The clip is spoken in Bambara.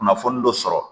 Kunnafoni dɔ sɔrɔ